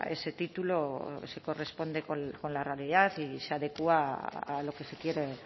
ese título se corresponde con la realidad y se adecúa a lo que se quiere